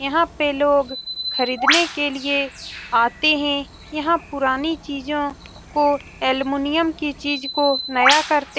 यहाँ पे लोग खरदीने के लिए आते हैं यहाँ पुरानी चीजों को एल्युमीनियम की चीज को नया करते --